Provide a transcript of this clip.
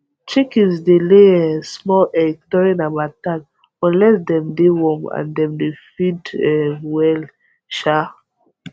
chickens dey lay um small egg during harmattan unless dem de warm and dem dey feed um well um